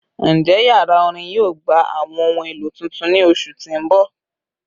Njẹ yara orin yoo gba awọn ohun elo tuntun ni oṣu ti n bọ?